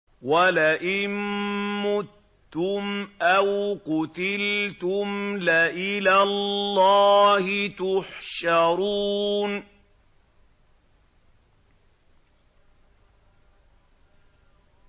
وَلَئِن مُّتُّمْ أَوْ قُتِلْتُمْ لَإِلَى اللَّهِ تُحْشَرُونَ